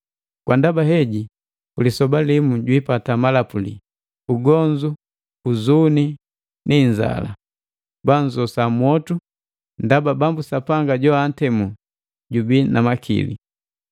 Kwa ndaba heji ku lisoba limu jwiipata malapuli: Ugonzu, uzuni ni inzala. Bannzosa mwotu, ndaba Bambu Sapanga jo antemu jubii na makili.”